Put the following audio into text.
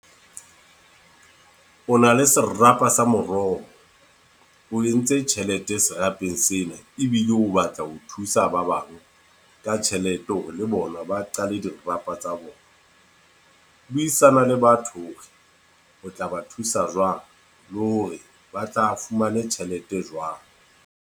O na le serapa sa moroho. O entse tjhelete serapeng sena. Ebile o batla ho thusa ba bang ka tjhelete ho re le bona ba qale dirapa tsa bona. Buisana le batho hore o tla ba thusa jwang, le hore ba tla fumane tjhelete jwang.